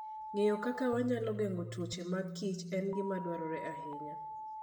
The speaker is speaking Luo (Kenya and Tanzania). Ng'eyo kaka wanyalo geng'o tuoche mag kich en gima dwarore ahinya.